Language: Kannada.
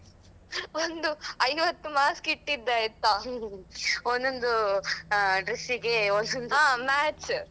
ಒಂದು ಐವತ್ತು mask ಇಟ್ಟಿದ್ದೆ ಆಯ್ತಾ ಒಂದೊಂದು ಅಹ್ ಡ್ರೆಸ್ಸಿಗೆ ಹೊಸತ್ತು match .